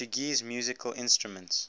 portuguese musical instruments